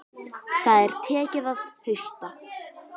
Það er tekið að hausta.